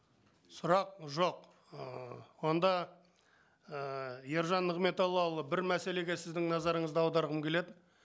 сұрақ жоқ ыыы онда ііі ержан нығметоллаұлы бір мәселеге сіздің назарыңызды аударғым келеді